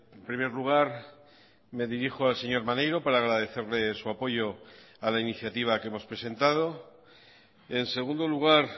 en primer lugar me dirijo al señor maneiro para agradecerle su apoyo a la iniciativa que hemos presentado en segundo lugar